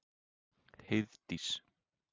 Heiðdís